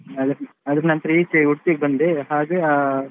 ಅದ್ರ ನಂತ್ರ ಈಚೆ Udupi ಗೆ ಬಂದೆ ಹಾಗೆ ಅಹ್.